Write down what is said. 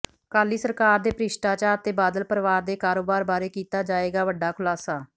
ਅਕਾਲੀ ਸਰਕਾਰ ਦੇ ਭ੍ਰਿਸ਼ਟਾਚਾਰ ਤੇ ਬਾਦਲ ਪਰਿਵਾਰ ਦੇ ਕਾਰੋਬਾਰ ਬਾਰੇ ਕੀਤਾ ਜਾਏਗਾ ਵੱਡਾ ਖੁਲਾਸਾ